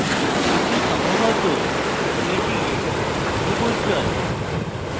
কিন্তু সম্ভবত এটি খুব উজ্জ্বল